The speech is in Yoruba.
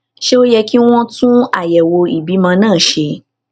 ṣé ó yẹ kí wón tún àyèwò ìbímọ náà ṣe